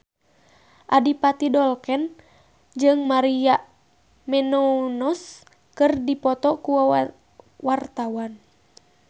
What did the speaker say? Adipati Dolken jeung Maria Menounos keur dipoto ku wartawan